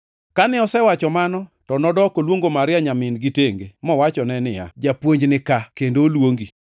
Kane osewacho mano, to nodok oluongo Maria nyamin-gi tenge, mowachone niya, “Japuonj nika, kendo oluongi.”